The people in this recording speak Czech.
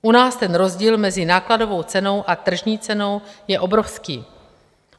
U nás ten rozdíl mezi nákladovou cenou a tržní cenou je obrovský.